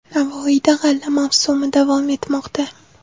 Navoiyda g‘alla mavsumi davom etmoqda.